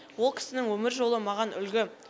ол кісінің өмір жолы маған үлгі